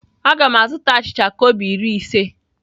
A ga m azụta achịcha kobo iri ise.